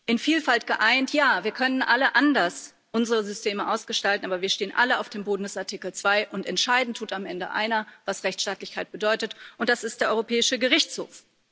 In Vielfalt geeint ja, wir können unsere Systeme alle anders ausgestalten, aber wir stehen alle auf dem Boden des Artikel 2, und entscheiden tut am Ende einer, was Rechtstaatlichkeit bedeutet, und das ist der Europäische Gerichtshof.